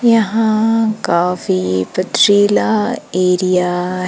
यहां काफी पथरीला एरिया --